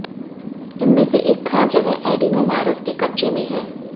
उनमें से एक खास जगह एडीनोवायरस के कब्जे में है